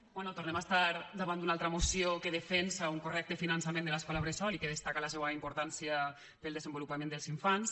bé tornem a estar davant d’una altra moció que defensa un correcte finançament de l’escola bressol i que destaca la seua importància per al desenvolupament dels infants